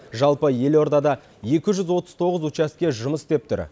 жалпы елордада екі жүз отыз тоғыз учаске жұмыс істеп тұр